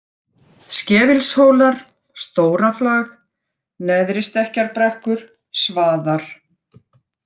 Skefilshólar, Stóraflag, Neðristekkjarbrekkur, Svaðar